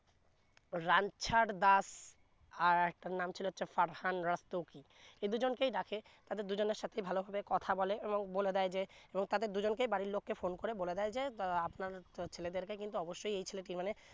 রাঞ্ছার দাস আরেকটার নাম ছিলো ফারহান রাস্তোগি এই দুই জনকে ডাকে তাদের দুই জনের সাথে ভালো ভাবে কথা বলে এবং বলে দেয় যে এবং তাদের দুই জনকে বাড়ির লোককে phone করে বলে দেয় যে তা আপনার ছেলেদেরকে কিন্তু অবশ্যই এই ছেলে টি মানে